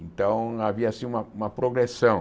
Então, havia assim uma uma progressão.